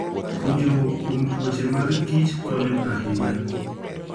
Puonjruok kuom tuoche mag kich konyo ahinya.